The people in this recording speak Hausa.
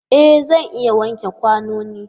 E! Zan iya wanke kwanonin.